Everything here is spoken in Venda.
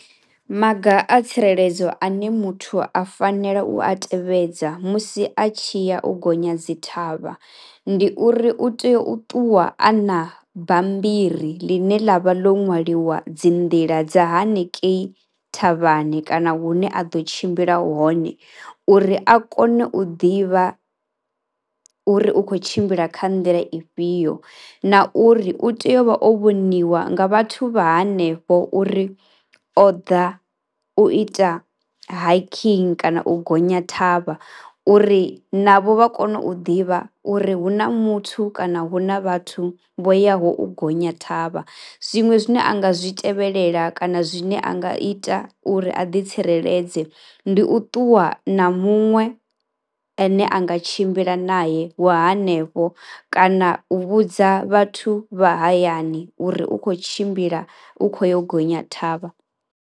Maga a tsireledzo ane muthu a fanela u a tevhedza musi a tshi ya u gonya dzi thavha ndi uri u tea u ṱuwa a na bammbiri ḽine ḽa vha ḽo nwaliwa dzi nḓila dza hanikei thavhani kana hune a ḓo tshimbila hone uri a kone u ḓivha uri u khou tshimbila kha nḓila ifhio. Na uri u tea u vha o vhoniwa nga vhathu vha hanefho uri o ḓa u ita hiking kana u gonya thavha uri navho vha kone u ḓivha uri hu na muthu kana hu na vhathu vho yaho u gonya thavha. Zwiṅwe zwine a nga zwi tevhelela kana zwine a nga ita uri a ḓitsireledze ndi u ṱuwa na muṅwe ane a nga tshimbila nae wa hanefho kana u vhudza vhathu vha hayani uri u khou tshimbila, u khou yo u gonya thavha.